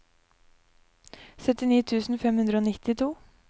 syttini tusen fem hundre og nittito